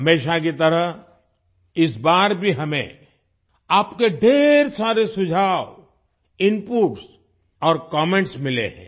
हमेशा की तरह इस बार भी हमें आपके ढ़ेर सारे सुझाव इनपुट्स और कमेंट्स मिले हैं